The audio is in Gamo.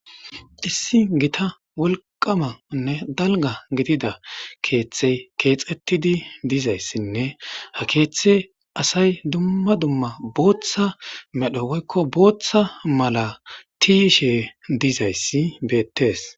Issi gita wolqamanne dalga gidida keeththey keexettidi dizayssinne ha keeththe asay dumma dumma booththa medho woykko booththa mala tiishe dizayssi beettees